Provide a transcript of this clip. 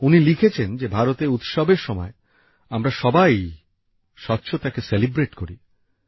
উনি লিখেছেন যে ভারতে উৎসবের সময় আমরা সবাই স্বচ্ছতাকে উদযাপন করি